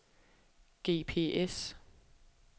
GPS